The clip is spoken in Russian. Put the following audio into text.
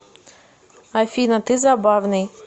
афина ты забавный